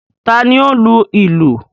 Ta ni ó ń lu ìlù?